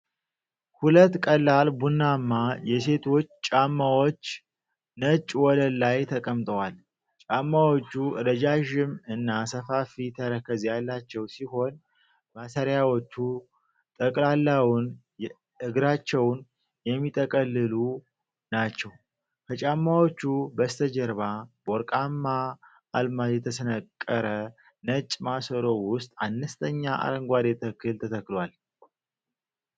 ሁለት ቀላል ቡናማ የሴቶች ጫማዎች ነጭ ወለል ላይ ተቀምጠዋል። ጫማዎቹ ረዣዥም እና ሰፋፊ ተረከዝ ያላቸው ሲሆን፤ ማሰሪያዎቹ ጠቅላላውን እግራቸው የሚጠቀልሉ ናቸው። ከጫማዎቹ በስተጀርባ በወርቃማ አልማዝ የተሰነቀረ ነጭ ማሰሮ ውስጥ አነስተኛ አረንጓዴ ተክል ተተክሏል።